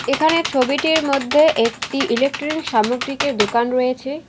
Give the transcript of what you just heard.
এখানে ছবিটির মধ্যে একটি ইলেকট্রনিক সামগ্রিকের দোকান রয়েছে।